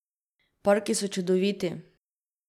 Parki so čudoviti.